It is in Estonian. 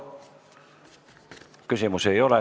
Küsimusi ei ole.